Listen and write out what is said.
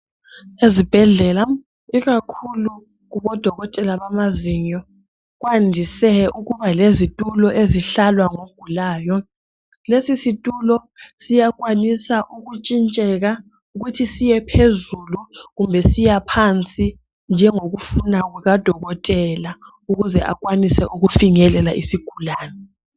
Ezibhedlela, ikakhulu kubodokotela bamazinyo, kwandise ukuba lezitulo ezihlalwa ngogulayo. Lesisitulo siyakwanisa ukutshintsheka, ukuthi siyephezulu kumbe siya phansi, njengokufuna kukadokotela, ukuze akwanise ukufinyelela isigulane.